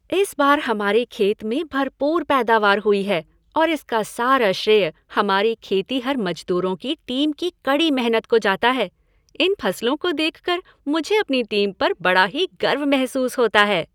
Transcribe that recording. इस बार हमारे खेत में भरपूर पैदावार हुई है और इसका सारा श्रेय हमारे खेतिहर मजदूरों की टीम की कड़ी मेहनत को जाता है। इन फसलों को देखकर मुझे अपनी टीम पर बड़ा ही गर्व महसूस होता है।